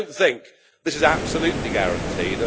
So don't think this is absolutely guaranteed.